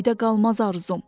Göydə qalmaz arzum.